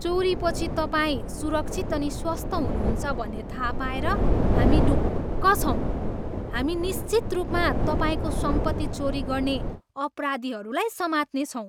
चोरीपछि तपाईँ सुरक्षित अनि स्वस्थ हुनुहुन्छ भन्ने थाहा पाएर हामी ढुक्क छौँ। हामी निश्चित रूपमा तपाईँको सम्पत्ति चोरी गर्ने अपराधीहरूलाई समात्नेछौँ।